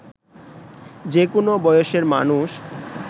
যে কোনো বয়সের মানুষ